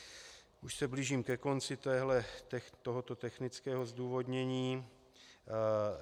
Už se blížím ke konci tohoto technického zdůvodnění.